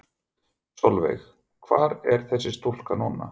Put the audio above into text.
Sólveig: Hvar er þessi stúlka núna?